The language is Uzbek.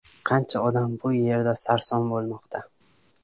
Qancha odam bu yerda sarson bo‘lmoqda.